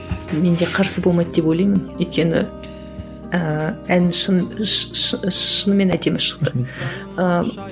мен де қарсы болмайды деп ойлаймын өйткені ііі ән шын шынымен әдемі шықты ыыы